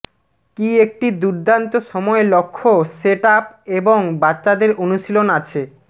কি একটি দুর্দান্ত সময় লক্ষ্য সেট আপ এবং বাচ্চাদের অনুশীলন আছে